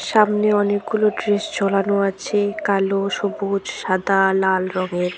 সামনে অনেকগুলো ড্রেস ঝোলানো আছে কালো সবুজ সাদা লাল রঙের।